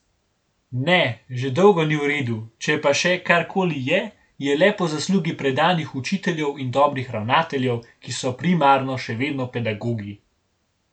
Ne, že dolgo ni v redu, če pa še karkoli je, je le po zaslugi predanih učiteljev in dobrih ravnateljev, ki so primarno še vedno pedagogi.